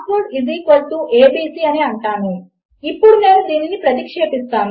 నేను ఇప్పటికే చాలా రోజు వారీ పీఎచ్పీ అప్లికేషన్లలో ఇవి ఎంత ఉపయోగకరము అవుతాయి అనేది వివరించి ఉన్నాను